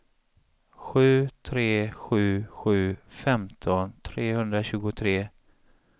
sju tre sju sju femton trehundratjugotre